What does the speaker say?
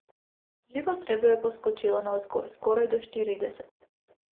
Živo srebro je poskočilo navzgor, skoraj do štirideset.